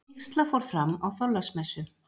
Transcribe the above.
Vígsla fór fram á Þorláksmessu.